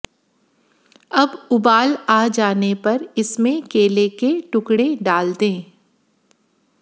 अब उबाल आ जाने पर इसमें केले के टुकड़े डाल दें